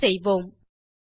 Enter செய்வோம்